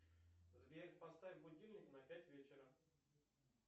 сбер поставь будильник на пять вечера